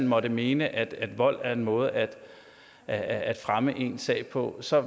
måtte mene at vold er en måde at at fremme en sag på så